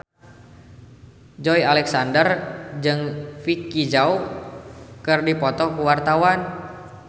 Joey Alexander jeung Vicki Zao keur dipoto ku wartawan